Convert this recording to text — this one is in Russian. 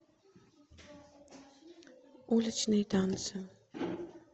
уличные танцы